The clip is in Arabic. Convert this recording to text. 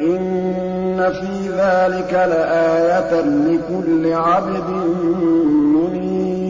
إِنَّ فِي ذَٰلِكَ لَآيَةً لِّكُلِّ عَبْدٍ مُّنِيبٍ